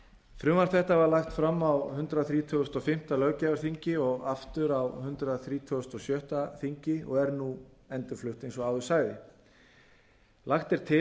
frumvarp þetta var lagt fram á hundrað þrítugasta og fimmta löggjafarþingi og aftur á hundrað þrítugasta og sjötta þingi og er nú endurflutt eins og áður sagði lagt er til